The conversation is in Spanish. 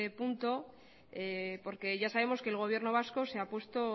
punto porque ya sabemos que el gobierno vasco se ha puesto